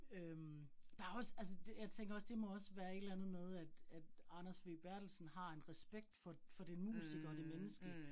Øh der også altså det jeg tænker også, det må også være et eller andet med, at at Anders W Berthelsen har en respekt for for den musiker og det menneske